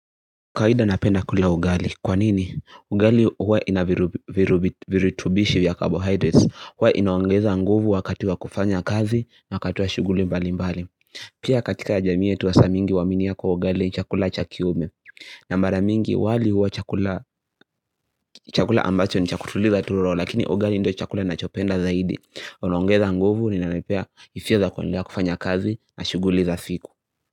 Kawaida napenda kulia ugali. Kwanini? Ugali huwa inavirutubishi vya carbohydrates. Huwa inaongeza nguvu wakati wa kufanya kazi na wakati wa shughuli mbali mbali. Pia katika jamii yetu wasaa mingi huaminia kuwa ugali chakula chakiume. Na mara mingi wali huwa chakula ambacho ni cha kutuliza tu roho lakini ugali ndiyo chakula nachopenda zaidi. Una ongeza nguvu ninanipea hisia zakwenlea kufanya kazi na shuguli za siku.